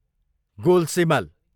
गोलसिमल